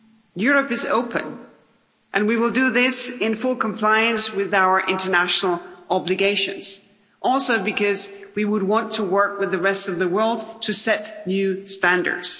Europe is open and we will do this in full compliance with our international obligations, also because we would want to work with the rest of the world to set new standards.